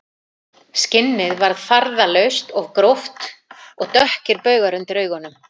Skinnið var farðalaust og gróft og dökkir baugar undir augunum